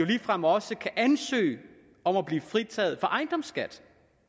ligefrem også ansøge om at blive fritaget for ejendomsskat